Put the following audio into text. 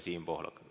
Siim Pohlak.